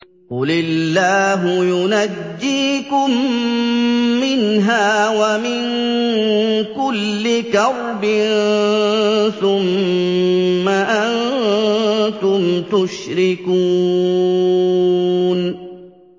قُلِ اللَّهُ يُنَجِّيكُم مِّنْهَا وَمِن كُلِّ كَرْبٍ ثُمَّ أَنتُمْ تُشْرِكُونَ